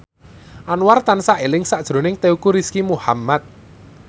Anwar tansah eling sakjroning Teuku Rizky Muhammad